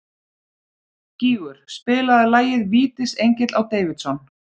Gígur, spilaðu lagið „Vítisengill á Davidson“.